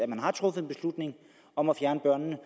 man har truffet beslutning om at fjerne børnene